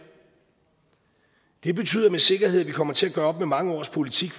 det betyder med sikkerhed at vi kommer til at gøre op med mange års politik